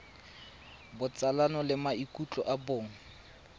botsalano le maikutlo a bong